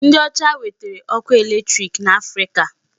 Ndị ọcha wetara ọkụ electric n'Africa.